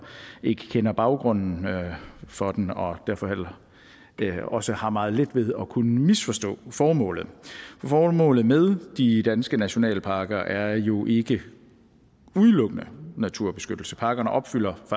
ikke kender baggrunden for den og derfor også har meget let ved at kunne misforstå formålet for formålet med de danske nationalparker er jo ikke udelukkende naturbeskyttelse parkerne opfylder